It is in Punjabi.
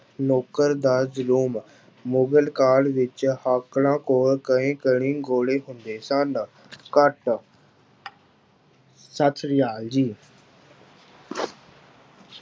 ਮੁਗ਼ਲ ਦਾ ਜ਼ੁਲਮ, ਮੁਗਲ ਕਾਲ ਵਿੱਚ ਕੋਲ ਕਈ ਕਈ ਗੋਲੇ ਹੁੰਦੇ ਸਨ ਘੱਟ ਸਤਿ ਸ੍ਰੀ ਅਕਾਲ ਜੀ।